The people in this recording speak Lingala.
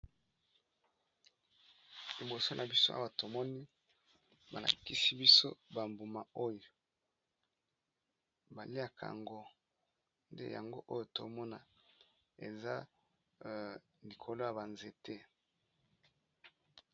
Liboso na biso awa tomoni ba lakisi biso ba mbuma oyo ba liaka yango nde yango oyo tomona eza likolo ya ba nzete.